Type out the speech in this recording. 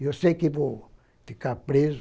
Eu sei que vou ficar preso,